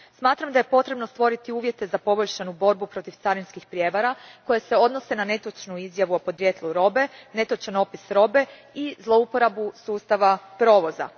Smatram da je potrebno stvoriti uvjete za poboljšanu borbu protiv carinskih prijevara koje se odnose na netočnu izjavu o podrijetlu robe, netočan opis robe i zlouporabu sustava provoza.